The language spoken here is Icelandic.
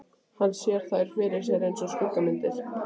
Hann sér þær fyrir sér einsog skuggamyndir.